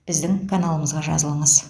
біздің каналымызға жазылыңыз